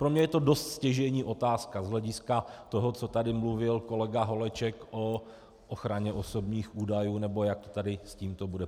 Pro mě je to dost stěžejní otázka z hlediska toho, co tady mluvil kolega Holeček o ochraně osobních údajů, nebo jak to tady s tímto bude.